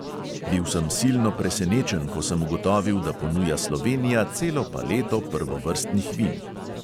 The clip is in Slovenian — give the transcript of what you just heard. Bil sem silno presenečen, ko sem ugotovil, da ponuja slovenija celo paleto prvovrstnih vin.